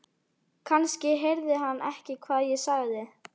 Kannski heyrði hann ekki hvað ég sagði.